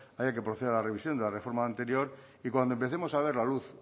haya que proceder a la revisión de la reforma anterior y cuando empecemos a ver la luz